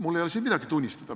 Mul ei ole siin midagi tunnistada.